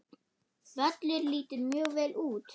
Völlur lítur mjög vel út.